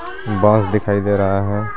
बस दिखाई दे रहा है।